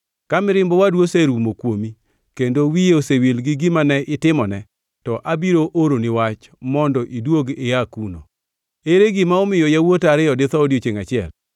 Ka mirimb owadu oserumo kuomi kendo wiye osewil gi gima ne itimone, to abiro oroni wach mondo iduog ia kuno. Ere gima omiyo yawuota ariyo ditho odiechiengʼ achiel?